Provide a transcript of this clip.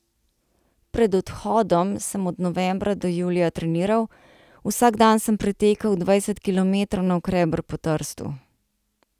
Pred odhodom sem od novembra do julija treniral, vsak dan sem pretekel dvajset kilometrov navkreber po Trstu.